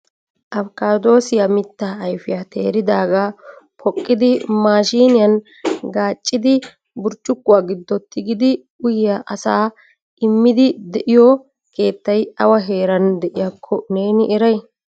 Afkaaddosiya mittaa ayfiya teeridaaga poqqidi maashiniyan gaaccidi burccukkuwa giddon tigidi uyyiya asaa immidi de'iyo keettay awa heeran de'iyakko neeni eray?